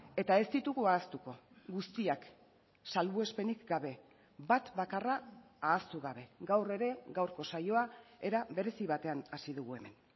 eta ez ditugu ahaztuko guztiak salbuespenik gabe bat bakarra ahaztu gabe gaur ere gaurko saioa era berezi batean hasi dugu hemen